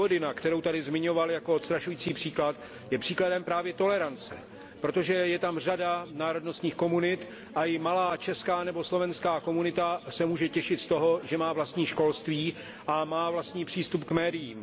Vojvodina, kterou tady zmiňoval jako odstrašující příklad, je příkladem právě tolerance, protože je tam řada národnostních komunit a i malá česká nebo slovenská komunita se může těšit z toho, že má vlastní školství a má vlastní přístup k médiím.